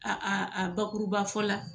A a a bakuruba fɔ la,